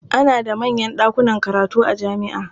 Ana da manyan ɗakunan karatu a jami'a.